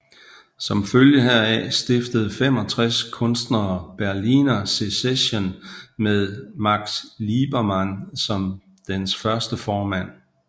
Som følge heraf stiftede 65 kunstnere Berliner Sezession med Max Liebermann som dens første formand